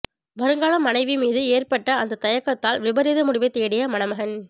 வருங்கால மனைவி மீது ஏற்பட்ட அந்த தயக்கத்தால் விபரீத முடிவை தேடிய மணமகன்